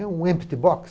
É um empty box?